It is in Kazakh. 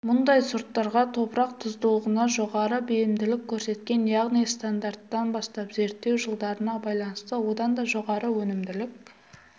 мұндай сорттарға топырақ тұздылығына жоғары бейімділік көрсеткен яғни стандарттан бастап зерттеу жылдарына байланысты одан да жоғары өнімділік